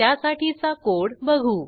त्यासाठीचा कोड बघू